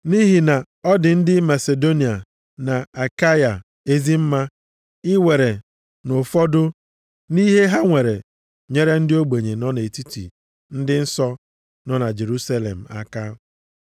Nʼihi na ọ dị ndị Masidonia na Akaịa ezi mma iwere nʼụfọdụ nʼihe ha nwere nyere ndị ogbenye nọ nʼetiti ndị nsọ nọ na Jerusalem aka.